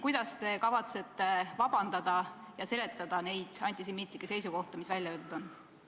Kuidas te kavatsete vabandada ja seletada neid antisemiitlikke seisukohti, mis välja öeldud on?